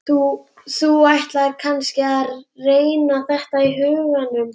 Þú ætlar kannski að reikna þetta í huganum?